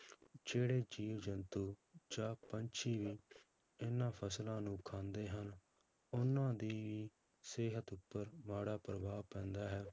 ਜਿਹੜੇ ਜੀਵ ਜੰਤੂ ਜਾਂ ਪੰਛੀ ਵੀ ਇਹਨਾਂ ਫਸਲਾਂ ਨੂੰ ਖਾਂਦੇ ਹਨ, ਉਹਨਾਂ ਦੀ ਵੀ ਸਿਹਤ ਉੱਪਰ ਮਾੜਾ ਪ੍ਰਭਾਵ ਪੈਂਦਾ ਹੈ